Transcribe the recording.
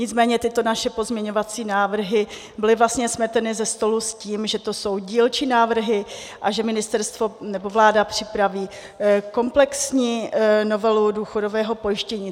Nicméně tyto naše pozměňovací návrhy byly vlastně smeteny ze stolu s tím, že to jsou dílčí návrhy a že ministerstvo nebo vláda připraví komplexní novelu důchodového pojištění.